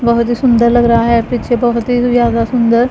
बहोत ही सुन्दर लग रहा है पीछे बहोत ही ज्यादा सुन्दर--